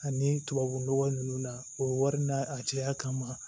Ani tubabu nɔgɔ ninnu na o wari n'a a caya ma